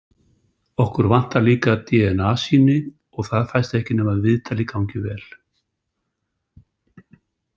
Okkur vantar líka dna- sýni og það fæst ekki nema viðtalið gangi vel.